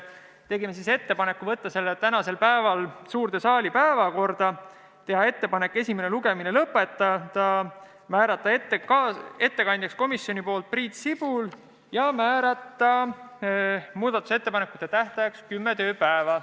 Tegime ettepanekud saata see eelnõu tänaseks päevaks suure saali päevakorda, esimene lugemine lõpetada, otsustasime määrata ettekandjaks komisjoni nimel Priit Sibula ja tegime ettepaneku määrata muudatusettepanekute esitamise tähtajaks kümme tööpäeva.